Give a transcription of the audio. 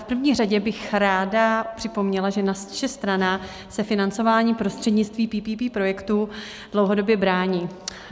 V první řadě bych ráda připomněla, že naše strana se financování prostřednictvím PPP projektů dlouhodobě brání.